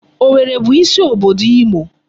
Owerri bụ isi obodo Imo.